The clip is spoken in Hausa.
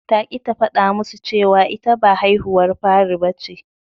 Ta ƙi ta faɗa musu cewa ita ba haihuwar fari bace.